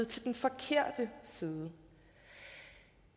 til den forkerte side